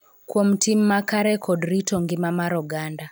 Kuom tim makare kod rito ngima mar oganda.